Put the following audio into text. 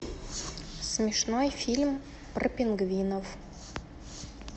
смешной фильм про пингвинов